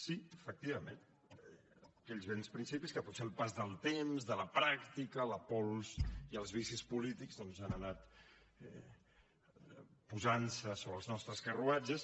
sí efectivament aquells vells principis que potser el pas del temps de la pràctica la pols i els vicis polítics doncs han anat posant se sobre els nostres carruatges